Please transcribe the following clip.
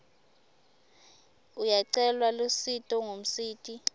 uyacela lusito kumsiti